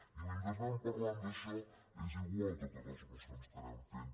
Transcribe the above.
i mentre anem parlant d’això és igual totes les mocions que anem fent